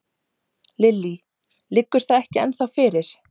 Lillý: Liggur það ekki ennþá fyrir?